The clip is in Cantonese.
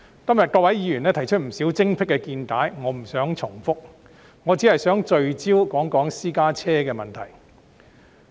各位議員今天提出不少精闢見解，我不想重複，我只想聚焦說一說私家車的問題。